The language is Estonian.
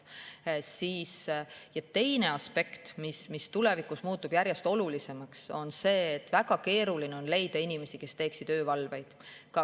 Teine aspekt, mis tulevikus muutub järjest olulisemaks, on see, et väga keeruline on leida inimesi, kes teeksid öövalveid.